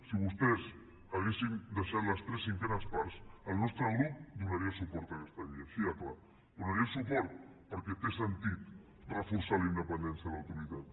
si vostès haguessin deixat les tres cinquenes parts el nostre grup donaria suport a aquesta llei així de clar hi donaria suport perquè té sentit reforçar la independència de l’autoritat